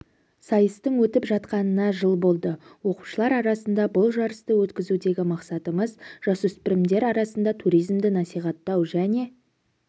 сайыстың өтіп жатқанына жыл болды оқушылар арасында бұл жарысты өткізудегі мақсатымыз жасөспірімдер арасында туризмді насихаттау және